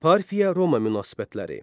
Parfiya-Roma münasibətləri.